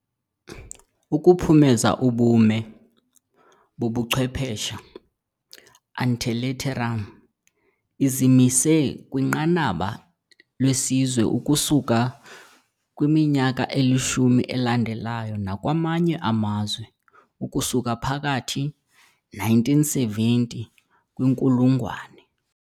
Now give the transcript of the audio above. ukuphumeza "ubume" bobuchwephesha "ante litteram", izimise kwinqanaba lesizwe ukusuka kwiminyaka elishumi elandelayo nakwamanye amazwe ukusuka phakathi. -1970 kwinkulungwane.